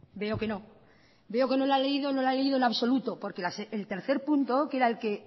veo que no la ha leído en absoluto porque el tercer punto que era